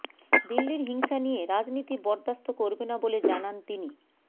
দিল্লির হিংসা নিয়ে রাজনীতি বরদাস্ত করবে না বলে জানান তিনি